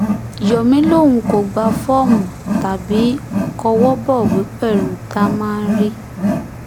yomi lòun kò gba fọ́ọ̀mù tàbí kọwọ́ bọ̀wé pẹ̀lú támánrí